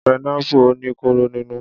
Pineapple ò ní kóró nínú.